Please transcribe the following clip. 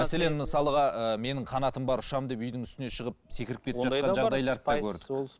мәселен мысалға ы менің қанатым бар ұшамын деп үйдің үстіне шығып секіріп кетіп жатқандарды да көрдік